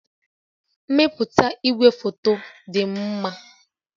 Mmepụta igwefoto dị mma